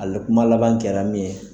Ale kuma laban kɛra min ye.